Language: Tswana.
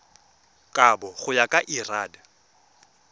kabo go ya ka lrad